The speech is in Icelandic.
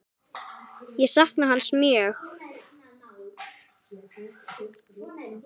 Ég sakna hans mjög.